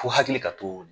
F'u hakili ka to